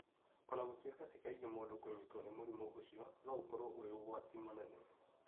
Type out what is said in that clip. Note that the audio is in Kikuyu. O na gũtuĩka ti kaingĩ mũndũ kũnyitwo nĩ mũrimũ ũcio, no ũkorũo ũrĩ ũgwati mũnene.